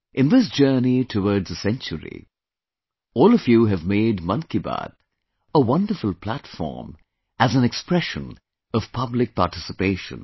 In this journey towards a century, all of you have made 'Mann Ki Baat' a wonderful platform as an expression of public participation